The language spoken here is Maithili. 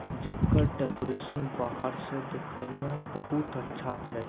जेकर डेकोरेशन बाहर से देखे में बहुत अच्छा छै।